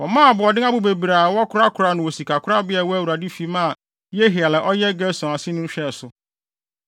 Wɔmaa aboɔden abo bebree a wɔkɔkoraa no wɔ sikakorabea a ɛwɔ Awurade fi maa Yehiel a ɔyɛ Gerson aseni hwɛɛ so.